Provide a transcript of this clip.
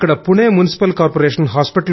ఇక్కడ Pune municipal corporation